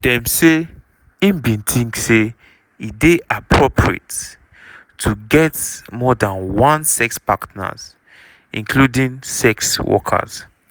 dem say im bin tink say e dey "appropriate" to get more dan one sex partners including sex workers.